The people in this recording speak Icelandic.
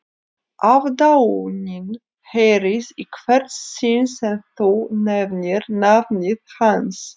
Aðdáunin heyrist í hvert sinn sem þú nefnir nafnið hans